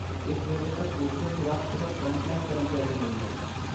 ਇਸ ਵੇਲੇ ਤੱਕ ਬੂਸਟਰ ਖ਼ੁਰਾਕ ਸਿਰਫ਼ ਫਰੰਟਲਾਈਨ ਕਰਮਚਾਰੀਆਂ ਲਈ ਹੈ।